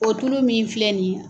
O tulu min filɛ nin ye